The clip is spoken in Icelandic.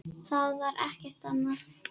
Það var ekkert annað.